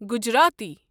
Gujarati